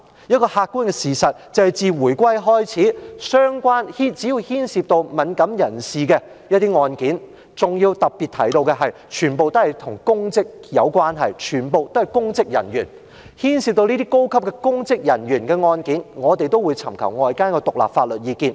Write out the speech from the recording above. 一個客觀的事實，就是自回歸以來，只要牽涉到敏感人士的案件，還要特別提到，全部都是與公職有關，全部都是公職人員，牽涉到這些高級公職人員的案件，我們都會尋求外間的獨立法律意見。